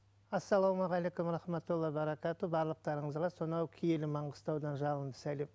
ассалаумағалейкум рахматтула баракату барлықатарыңызға сонау киелі маңғыстаудан жалынды сәлем